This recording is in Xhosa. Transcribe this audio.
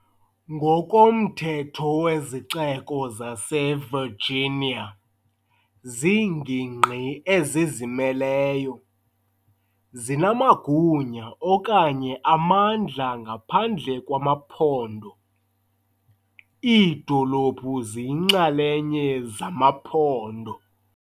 Ngokomthetho wezixeko zaseVirginia ziingingqi ezizimeleyo, zinamagunya okanye amandla ngaphandle kwamaphondo, iidolophu ziyinxalenye zamaphondo.